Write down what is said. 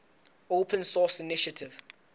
open source initiative